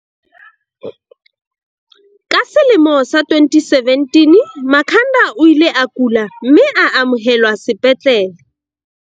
Ka selemo sa 2017, Makhanda o ile a kula, mme a amohelwa sepetlele.